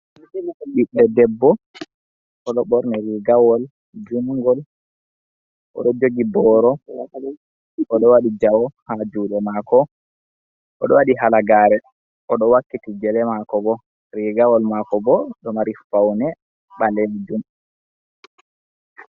Ɓiɗɗo debbo: Oɗo ɓorni rigawol jungol, oɗo jogi boro wale, oɗo waɗi jawe ha juɗe mako, oɗo waɗi halagare, oɗo wakkiti gele mako bo. Rigawol mako bo ɗo mari faune ɓalejum.